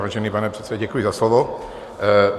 Vážený pane předsedo, děkuji za slovo.